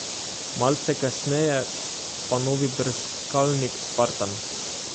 Malce kasneje pa novi brskalnik spartan.